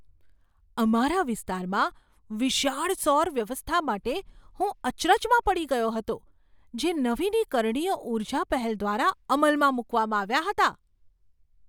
અમારા વિસ્તારમાં વિશાળ સૌર વ્યવસ્થા માટે હું અચરજમાં પડી ગયો હતો, જે નવીનીકરણીય ઊર્જા પહેલ દ્વારા અમલમાં મૂકવામાં આવ્યાં હતાં.